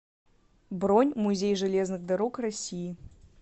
бронь музей железных дорог россии